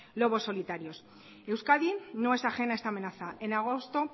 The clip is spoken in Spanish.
lobos solitarios euskadi no es ajeno a esta amenaza en agosto